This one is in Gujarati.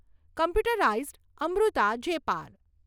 કોમ્પ્યુટરાઈઝડ અમૃતા જેપાર